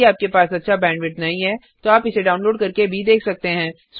यदि आपके पास अच्छा बैंडविड्थ नहीं है तो आप इसे डाउनलोड करके देख सकते हैं